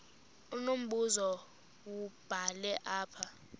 unombuzo wubhale apha